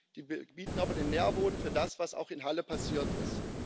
Sie bieten aber den Nährboden für das, was auch in Halle passiert ist.